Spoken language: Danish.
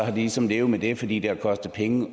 de ligesom levet med det fordi det har kostet penge